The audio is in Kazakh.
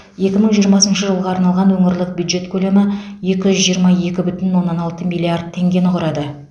екі мың жиырмасыншы жылға арналған өңірлік бюджет көлемі екі жүз жиырма екі бүтін оннан алты миллиард теңгені құрады